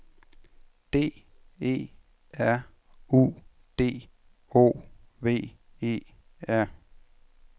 D E R U D O V E R